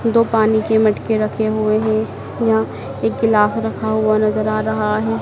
दो पानी के मटके रखे हुए है यहां एक गिलास रखा हुआ नजर आ रहा है।